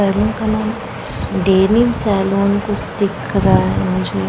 Salon का नाम Denim saloon कुछ दिख रहा है मुझे।